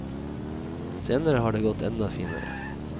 Senere har det gått enda finere.